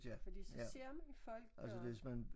Fordi så ser man folk og